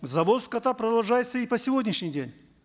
завоз скота продолжается и по сегодняшний день